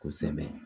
Kosɛbɛ